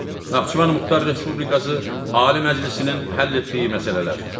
Naxçıvan Muxtar Respublikası Ali Məclisinin həll etdiyi məsələlər.